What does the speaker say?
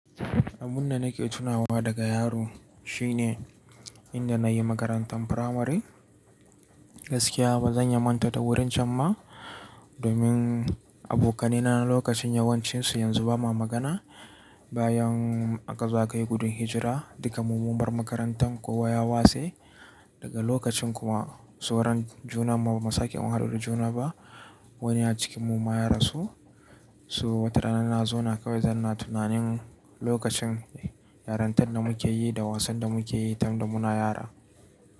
Abun da nake tunawa daga yaro shine inda na yi makarantan firamare. Gaskiya ba zan iya manta da wurin can ma domin abokanai na na lokacin yawancinsu yanzu ba ma magana. Bayan aka zo aka yi gudun hijira dukam mu mun bar makarantan kowa ya wase. Daga lokacin kuma sauron junan mu bamu sake mun haɗu da juna ba. Wani a cikin mu ma ya rasu. So wata rana na zauna kawai zan na tunanin lokacin yarantan da muke yi da wasan da muke yi tunda muna yara.